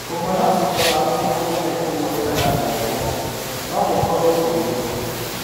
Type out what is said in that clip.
Kũhona thutha wa kũũrũo nĩ kũgũrũ kana gũoko no gũkorũo kũrĩtũ.